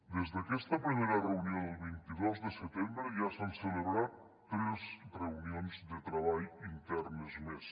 des d’aquesta primera reunió del vint dos de setembre ja s’han celebrat tres reunions de treball internes més